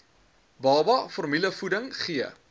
baba formulevoeding gee